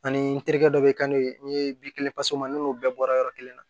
Ani n terikɛ dɔ bɛ kɛ n'o ye n ye bi kelen sɔrɔ n n'o bɛɛ bɔra yɔrɔ kelen na